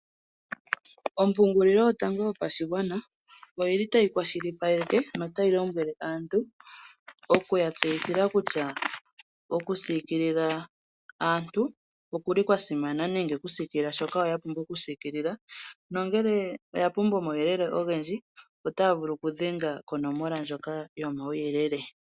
Ompungulilo yotango yopashigwana oyili tayi kwashilipaleke notayi lombwele aantu oku yatsethila kutya okusikilila aantu okuli kwa simana nenge oku sikila shoka ya pumbwa oku sikilila nongele oya pumbwa omauyelele ogendji otaya vulu oku dhenga konomola ndjoka yo mauyelele.